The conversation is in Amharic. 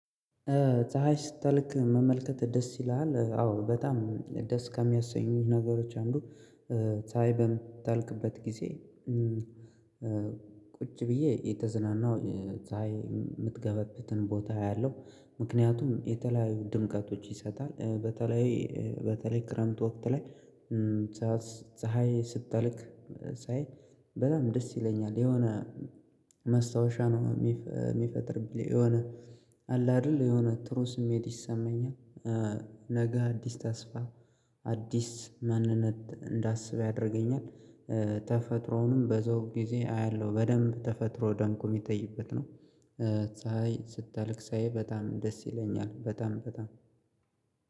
ፀሀይ ስትልክ መመልከት ደስ ይልሃል አዎ በጣም ደስ ከሚያሰኙት ነገሮች አንዱ። ፀሀይ ታይ በምትልክበት ጊዜ። ቁጭ ብዬ እየተዝናናው ታይ የምትገበበትን ቦታ ያያለው ምክንያቱም የተለያዩ ድምቀቶች ይሰጣል በተለይ በተለይ ክረምት ወቅት ላይ። ፀሀይ ስታልክ ፀሀይ በጣም ደስ ይለኛል የሆነ ማስታወሻ ነው የሚፈጥር ብለህ የሆነ አለ አይደል የሆነ ትሩ ስሜት ይሰማኛል። ነገ አዲስ ተስፋ አዲስ ማንነት እንዳስበው ያደርገኛል። ተፈጥሮውንም በዘው ጊዜ አያለሁ በደንብ ተፈጥሮ ደንቆ የሚጠይበት ነው። ሳይ ስታልክ ሳይ በጣም ደስ ይለኛል በጣም በጣም።